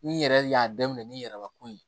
N'i yɛrɛ y'a daminɛ n'i yɛrɛbakun ye